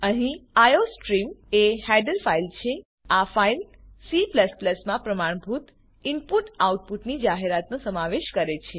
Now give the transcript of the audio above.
અહીં આઇઓસ્ટ્રીમ એ header file છે આ ફાઈલ C માં પ્રમાણભૂત ઈનપુટ આઉટપુટની જાહેરાતનો સમાવેશ કરે છે